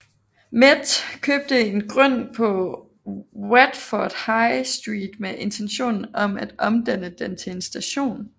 Met købte en grund på Watford High Street med intentionen om at omdanne den til en station